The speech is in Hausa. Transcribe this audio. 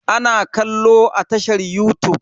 Ana kallo a tashar yutub.